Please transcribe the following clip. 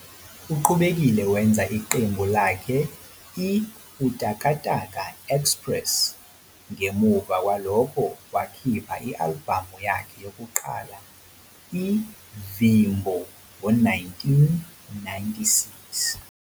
Uqhubekile wenza iqembu lakhe i-Utakataka Express ngemuva kwalokho wakhipha i-albhamu yakhe yokuqala, i-'Vimbo 'ngo-1996.